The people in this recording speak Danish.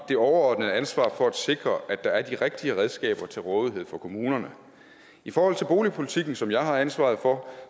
det overordnede ansvar for at sikre at der er de rigtige redskaber til rådighed for kommunerne i forhold til boligpolitikken som jeg har ansvaret for